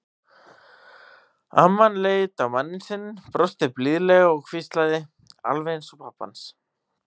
Amman leit á manninn sinn, brosti blíðlega og hvíslaði: Alveg eins og pabbi hans.